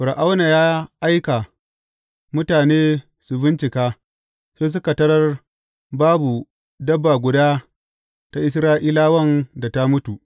Fir’auna ya aiki mutane su bincika, sai suka tarar babu dabba guda ta Isra’ilawan da ta mutu.